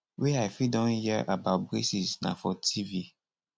wey i fit don hear about braces na for tv